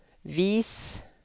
vis